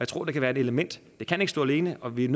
tror det kan være ét element det kan ikke stå alene og vi er